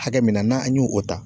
Hakɛ min na n'an y'o o ta